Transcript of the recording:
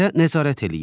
Hərəkətə nəzarət eləyir.